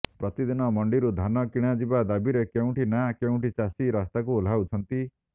ପ୍ରତିଦିନ ମଣ୍ଡିରୁ ଧାନ କିଣାଯିବା ଦାବିରେ କେଉଁଠି ନା କେଉଁଠି ଚାଷୀ ରାସ୍ତାକୁ ଓହ୍ଲାଉଛନ୍ତି